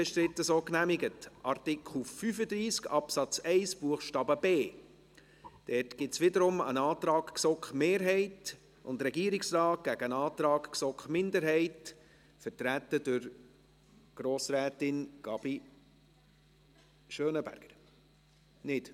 Dazu gibt es wiederum einen Antrag GSoK-Mehrheit und Regierungsrat gegen einen Antrag GSoK-Minderheit, vertreten durch Grossrätin Gabi Schönenberger. – Nicht?